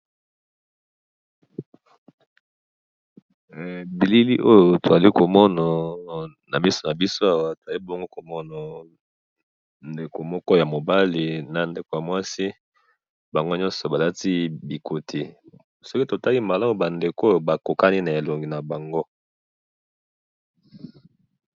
bilili oyo tozali komona na misu nabiso awa, tozali bongo komona ndeko moko ya mobali, na ndeko ya muasi, bango nyoso balati bikote, soki totali malamu ba ndeko oyo bakokangi na elongo na bango